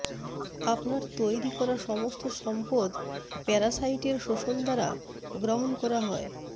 আপনার তৈরি করা সমস্ত সম্পদ প্যারাসাইটের শোষণ দ্বারা গ্রহণ করা হয়